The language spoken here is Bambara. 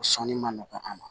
O sɔnni ma nɔgɔn a ma